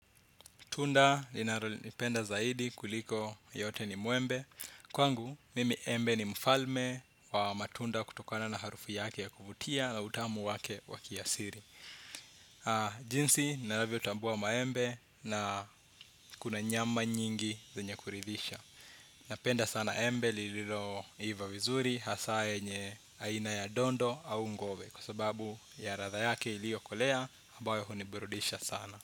Tunda, ninalo lipenda zaidi kuliko yote ni muembe. Kwangu, mimi embe ni mfalme wa matunda kutokana na harufu yake ya kuvutia na utamu wake waki ya siri. Jinsi, navyo tambua maembe na kuna nyama nyingi zenye kuridhisha. Napenda sana embe liliroiva vizuri, hasaa yenye aina ya dondo au ngove. Kwa sababu ya ratha yake ilio kolea, ambayo hunibirudisha sana.